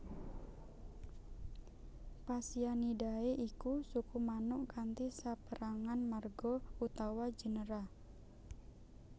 Phasianidae iku suku manuk kanthi sapérangan marga utawa genera